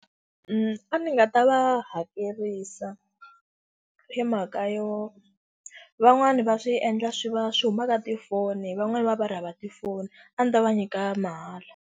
A ndzi nga ta va hakerisa hi mhaka yo, van'wani va swi endla swi va swi humaka tifoni van'wani va va va ri hava tifoni. A ndzi ta va nyika mahala.